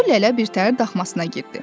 Kudu Lələ bir təhər daxmasına girdi.